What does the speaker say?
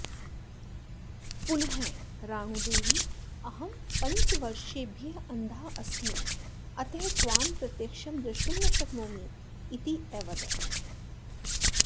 पुनः राणूदेवी अहं पञ्चवर्षेभ्यः अन्धा अस्मि अतः त्वां प्रत्यक्षं दृष्टुं न शक्नोमि इति अवदत्